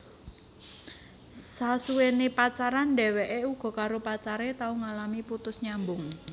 Sasuwené pacaran dheweké uga karo pacare tau ngalami putus nyambung